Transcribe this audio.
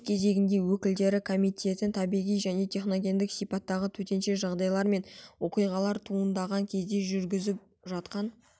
өз кезегінде өкілдері комитетін табиғи және техногендік сипаттағы төтенше жағдайлар мен оқиғалар туындаған кезде жүргізіп жатқан